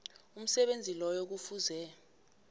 umsebenzi loyo kufuze